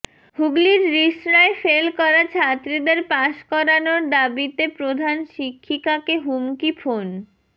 হুগলির রিষড়ায় ফেল করা ছাত্রীদের পাস করানোর দাবিতে প্রধান শিক্ষিকাকে হুমকি ফোন